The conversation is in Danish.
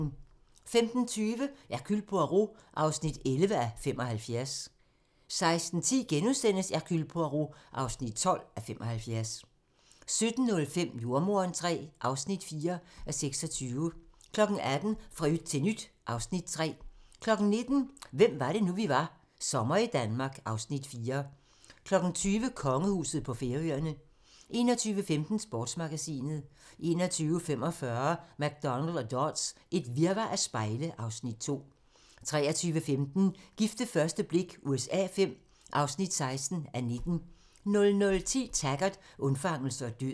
15:20: Hercule Poirot (11:75) 16:10: Hercule Poirot (12:75)* 17:05: Jordemoderen III (4:26) 18:00: Fra yt til nyt (Afs. 3) 19:00: Hvem var det nu, vi var - Sommer i Danmark (Afs. 4) 20:00: Kongehuset på Færøerne 21:15: Sportsmagasinet 21:45: McDonald og Dodds: Et virvar af spejle (Afs. 2) 23:15: Gift ved første blik USA V (16:19) 00:10: Taggart: Undfangelse og død